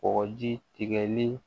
Kɔkɔji tigɛli